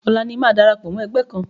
Ọ̀la ni màá darapọ̀ mọ́ ẹgbẹ́ kan.